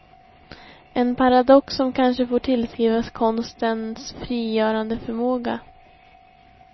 En paradox som kanske får tillskrivas konstens frigörande förmåga.